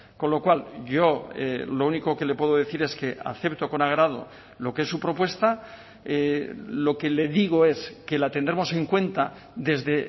con lo cual yo lo único que le puedo decir es que acepto con agrado lo que es su propuesta lo que le digo es que la tendremos en cuenta desde